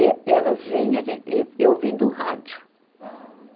E eh, e elas vinham, a gen, e e ouvindo rádio. Hum.